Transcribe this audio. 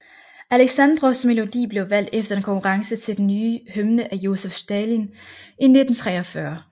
Aleksandrovs melodi blev valgt efter en konkurrence til den nye hymne af Josef Stalin i 1943